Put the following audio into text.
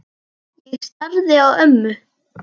Ég starði á ömmu.